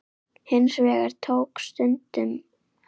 Hins vegar tók stundum á.